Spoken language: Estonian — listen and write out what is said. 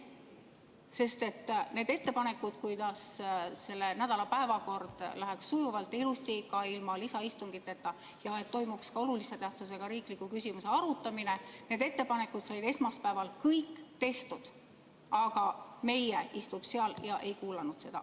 Sest need ettepanekud, kuidas selle nädala päevakord läheks sujuvalt ja ilusti ka ilma lisaistungiteta ning toimuks olulise tähtsusega riikliku küsimuse arutamine, said esmaspäeval kõik tehtud, aga "meie" istub seal ega kuulanud seda.